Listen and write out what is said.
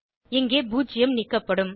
இங்கே பூஜ்ஜியம் நீக்கப்படும்